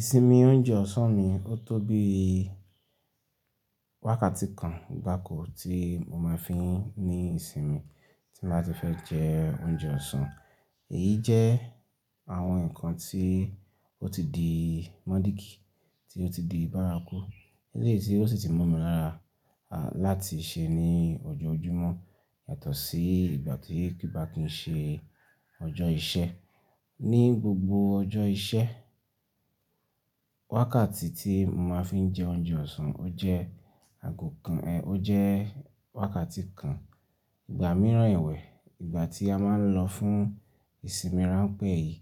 Ìsinmi oúnjẹ ọ̀sán mi, ó tó bí wákàtí kan gbáko tí mo máa ń fi ní ìsinmi tí bàá n ti fẹ́ jẹ oúnjẹ ọ̀sán. Èyí jẹ́ àwọn nǹkan tí ó ti di módìkì, tí ó ti di bárakú, eléyìí sí ó sì ti mo mi lára láti ṣe ní ọjọ́ ojúmọ́ yàtọ̀ sí ìgbà tí kí bá kí n ṣe ọjọ́ iṣẹ́. Ni gbogbo ọjọ́ iṣẹ́, wákàtí tí mo máa ń fi jẹ oúnjẹ ọ̀sán, ó jẹ́ àgọ̀ kan, ẹ́, ó jẹ́ wákàtí kan, ìgbà mìíràn ẹ̀wẹ́, ìgbà tí a máa ń lọ fún ìsinmi ránpẹ́ yìí,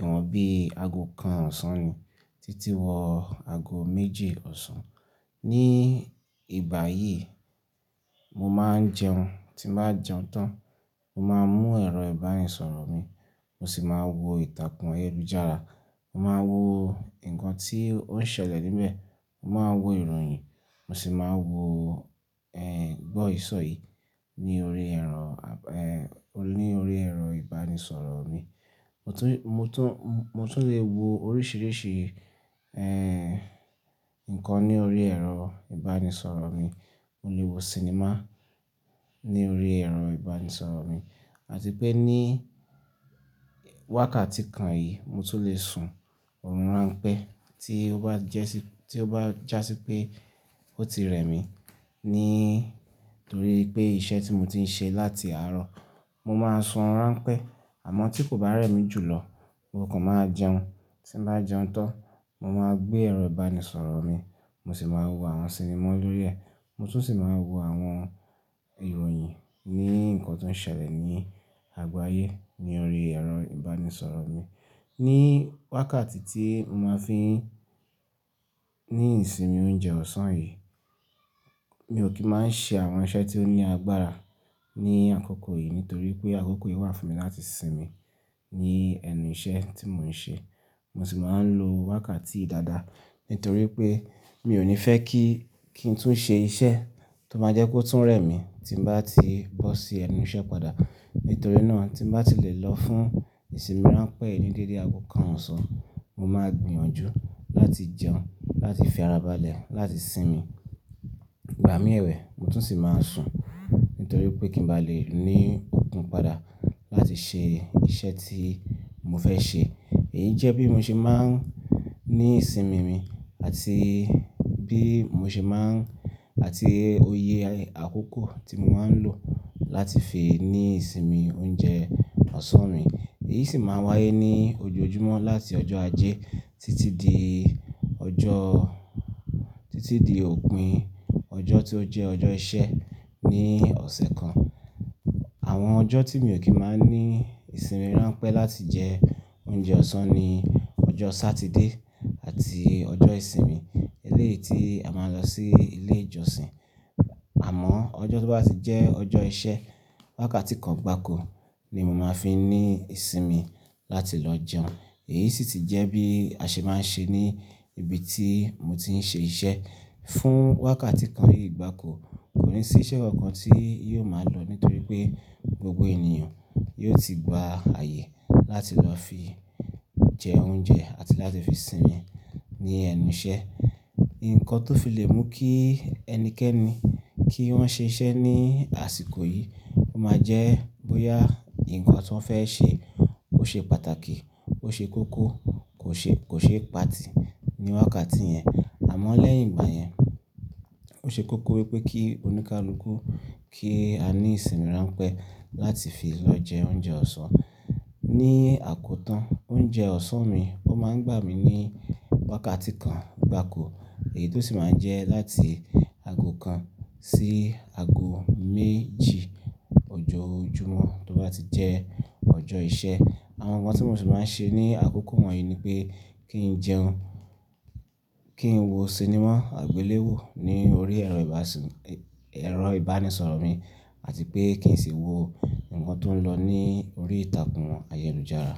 ìwọ̀n bí i àgọ̀ kan ọ̀sán ni títí wọ àgọ̀ méjì ọ̀sán. Ni ìgbà yìí, mo máa ń jẹun, tí n bàá jẹun tán, mo máa mú ẹ̀rọ ìbánisọ̀rọ̀ mi, mo sì máa wo ìtàkùn ayélujára, mo máa wo nǹkan tí ó ń ṣẹlẹ̀ níbẹ̀, mo máa wo ìròyìn, mo sì máa wo, ẹ́, gbọ́ ìsọ̀ yìí ní orí ẹ̀rọ, ẹ́, ní orí ẹ̀rọ ìbánisọ̀rọ̀ mi. Mo tún, mo tún, mo tún lè wo oríṣìíríṣìí, ẹ́, nǹkan ní orí ẹ̀rọ ìbánisọ̀rọ̀ mi. Mo lè wo sinimá ní orí ẹ̀rọ ìbánisọ̀rọ̀ mi àti pé ní wákàtí kan yìí mo tún lè sun ọ̀rùn ránpẹ́ tí ó bá jẹ́ sí, tí ó bá jásí pé ó ti rẹ̀ mí nítorí pé iṣẹ́ tí mo ti ń ṣe láti àárọ̀. Mo máa sun ọ̀rùn ránpẹ́ àmọ́ tí kò bá rẹ̀ mí jùlọ, mo kàn máa jẹun. Tí n bàá jẹun tán, mo máa gbé ẹ̀rọ ìbánisọ̀rọ̀ mi, mo sì máa wo àwọn sinimá lórí ẹ̀, mo tún sì máa n wo àwọn ìròyìn ní nǹkan tó ń ṣẹlẹ̀ ní àgbo áyé ní orí ẹ̀rọ ìbánisọ̀rọ̀ mi. Ni wákàtí tí mo máa ń fi ní ìsinmi oúnjẹ ọ̀sán yìí, mi ò kí máa ń ṣe àwọn iṣẹ́ tí ó ní agbára ní àkókò yìí nítorí pé àkókò yìí wà fún mi láti sinmi ní ẹnu iṣẹ́ tí mò ń ṣe. Mo sì máa ń lo wákàtí yìí dáadáa nítorí pé mi ò ní fẹ́ kí, kí n tún ṣe iṣẹ́ tó máa jẹ́ kó tún rẹ̀ mí tí bà tí bọ́ sí ẹnu iṣẹ́ padà. Nítorí náà tí n bàá ti lè lọ fún ìsinmi ránpẹ́ yìí ní dédé àgọ̀ kan ọ̀sán, mo máa gbìyànjú láti jẹun, láti fi ara balẹ̀, láti sinmi. Ìgbà mí ewẹ̀, mo tún sì máa sùn nítorí pé kí n bá lè ní okun padà láti ṣe iṣẹ́ tí mo fẹ́ ṣe. Èyí jẹ́ bí mo ṣe máa ń ní ìsinmi mi àti bí mo ṣe máa ń-- àti òye àkókò tí mo máa ń lò láti fi ní ìsinmi oúnjẹ ọ̀sán mi. Èyí sì máa ń wáyé ní ojoojúmọ́ láti ọjọ́ ajé títí di ọjọ́, títí di òpin ọjọ́ tí ó jẹ́ ọjọ́ iṣẹ́ ní ọ̀sẹ̀ kan. Àwọn ọjọ́ tí mi ò kí máa ń ní ìsinmi ránpẹ́ láti jẹ oúnjẹ ọ̀sán ni ọjọ́ Sátidé àti ọjọ́ ìsinmi eléyìí tí a máa ń lọ sí ilé ìjọsìn. Àmọ́ ọjọ́ tó bá ti jẹ́ ọjọ́ iṣẹ́, wákàtí kan gbáko ni mo máa fi n ní ìsinmi láti lọ jẹun. Èyí sì ti jẹ́ bí a ṣe máa ń ṣe ní ibi tí mo ti ń ṣe iṣẹ́. Fún wákàtí kan yìí gbáko, kò ní sí iṣẹ́ kọ̀ kan tí yóò máa lọ nítorí pé gbogbo ènìyàn yóò ti gba ààyè láti lọ fi jẹ oúnjẹ àti láti fi sinmi ní ẹnu iṣẹ́. Ǹnkan tó fi lè mú kí ẹnikẹ́ni kí wọ́n ṣe iṣẹ́ ní àsìkò yìí o máa jẹ́ bóyá nǹkan tọ́ n fẹ́ ṣe ó ṣe pàtàkì, ó ṣe kókó, kò ṣe, kò ṣe pa tì ní wákàtí yẹn. Àmọ́ lẹ́yìn ìgbà yẹn, ó ṣe kókó wípé kí oníkálúkú kí a ní ìsinmi ránpẹ́ láti fi lọ jẹ oúnjẹ ọ̀sán. Ni àkótán, oúnjẹ ọ̀sán mi, ó máa ń gbà mí ní wákàtí kan gbáko èyí tó sì máa ń jẹ́ láti àgọ̀ kan sí àgọ̀ méjì ọjọ́ ojúmọ́ tó bá ti jẹ́ ọjọ́ iṣẹ́. Àwọn nǹkan tí mo sì máa ń ṣe ní àkókò wọ̀nyí ni pé kí n jẹun, kí n wo sinimá àgbéléwò ní orí ẹ̀rọ, ibansimi, ero ìbánisọ̀rọ̀ mi àti pé kí n sì wo nǹkan tó ń lọ ní orí ìtàkùn ayélujára.